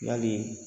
Yali